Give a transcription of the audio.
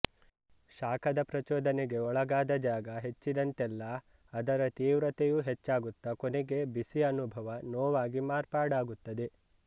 ಶಾಖದ ಪ್ರಚೋದನೆಗೆ ಒಳಗಾದ ಜಾಗ ಹೆಚ್ಚಿದಂತೆಲ್ಲ ಅದರ ತೀವ್ರತೆಯೂ ಹೆಚ್ಚಾಗುತ್ತ ಕೊನೆಗೆ ಬಿಸಿ ಅನುಭವ ನೋವಾಗಿ ಮಾರ್ಪಾಡಾಗುತ್ತದೆ